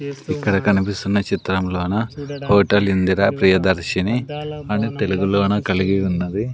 ఇక్కడ కనిపిస్తున్న చిత్రంలోన హోటల్ ఇందిర ప్రియ దర్శిని అని తెలుగు లోన కలిగి ఉన్నది.